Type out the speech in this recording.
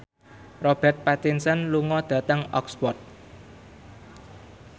Robert Pattinson lunga dhateng Oxford